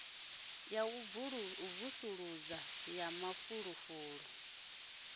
ya u vusuludza ha mafulufulu